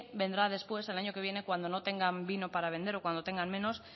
vendrá después el año que viene cuando no tengan vino para vender o cuanto tengan menos